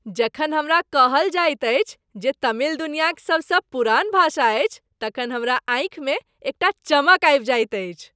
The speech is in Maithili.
जखन हमरा कहल जाइत अछि जे तमिल दुनियाक सबसँ पुरान भाषा अछि तखन हमरा आँखिमे एकटा चमक आबि जाइत अछि।